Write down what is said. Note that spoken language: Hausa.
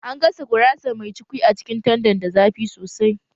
An gasa gurasar mai cukwi a cikin tandan da zafi sosai